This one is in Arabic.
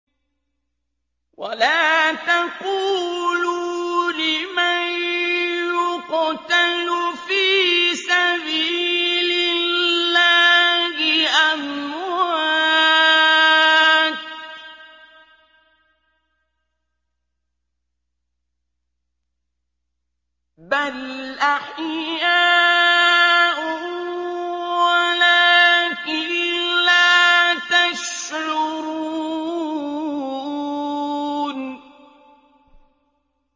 وَلَا تَقُولُوا لِمَن يُقْتَلُ فِي سَبِيلِ اللَّهِ أَمْوَاتٌ ۚ بَلْ أَحْيَاءٌ وَلَٰكِن لَّا تَشْعُرُونَ